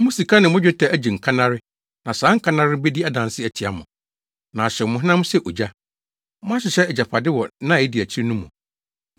Mo sika ne mo dwetɛ agye nkannare na saa nkannare no bedi adanse atia mo, na ahyew mo honam sɛ ogya. Moahyehyɛ agyapade wɔ nna a edi akyiri no mu.